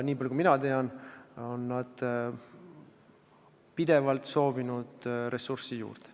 Nii palju kui mina tean, on nad pidevalt soovinud ressurssi juurde.